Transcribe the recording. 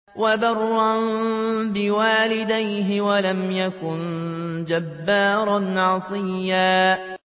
وَبَرًّا بِوَالِدَيْهِ وَلَمْ يَكُن جَبَّارًا عَصِيًّا